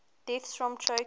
deaths from choking